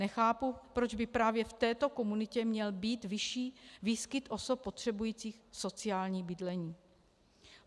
Nechápu, proč by právě v této komunitě měl být vyšší výskyt osob potřebujících sociální bydlení.